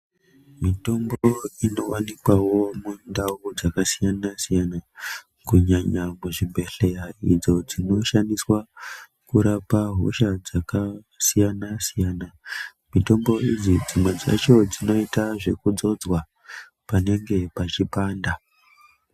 Mitombo inowanikwawo mundau dzakasiyana-siyana, kunyanya kuzvibhedhleya idzo dzinoshandiswa kurapa hosha dzakasiyana-siyana. Mitombo idzi dzimwe dzacho dzinoita zvekudzodzwa panenge peipanda.